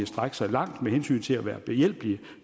strække sig langt med hensyn til at være behjælpelig